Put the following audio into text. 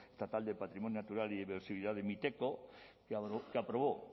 estatal del patrimonio natural y biodiversidad de miteco que aprobó